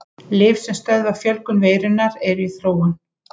Lyf sem stöðva fjölgun veirunnar eru í þróun.